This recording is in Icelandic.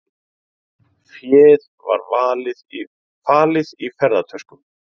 Féð var falið í ferðatöskum